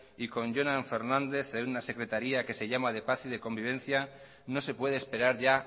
y con jonan fernández en un secretaría que se llama de paz y de convivencia no se puede esperar ya